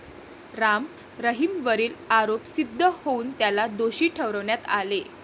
राम रहीमवरील आरोप सिद्ध होऊन त्याला दोषी ठरवण्यात आले.